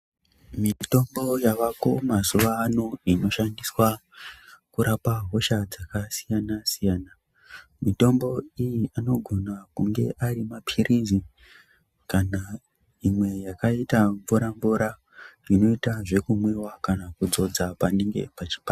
Mitombo yavako mazuwano inoshandiswa kurapa hosha dzakasiyana siyana, mitombo iyi inogona kunge arimaphirizi kana imwe yakaita mvura mvura inoita zvekumwiwa kana kudzodza panenge pachipanda.